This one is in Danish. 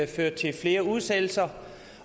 fører til flere udsættelser